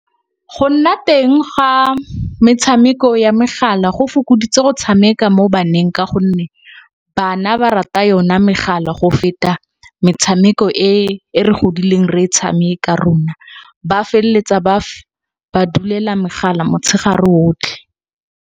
Go nna teng ga metshameko ya megala go fokoditse go tshameka mo baneng. Ka gonne, bana ba rata yona megala go feta metshameko e re godileng re e tshameka rona ba felletsa ba dulela megala motshegare botlhe.